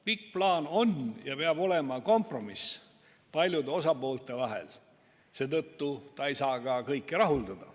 Pikk plaan on ja peab olema kompromiss paljude osapoolte vahel, seetõttu ei saa ta ka kõiki rahuldada.